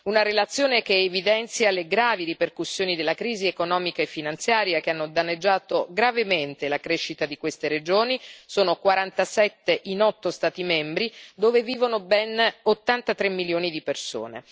Una relazione che evidenzia le gravi ripercussioni della crisi economica e finanziaria che hanno danneggiato gravemente la crescita di queste regioni sono 47 in otto Stati membri, dove vivono ben 83 milioni di persone.